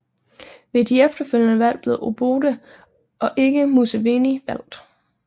Men ved de efterfølgende valg blev Obote og ikke Museveni valgt